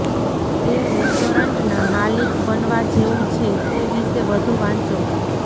તે રેસ્ટોરન્ટના માલિક બનવા જેવું છે તે વિશે વધુ વાંચો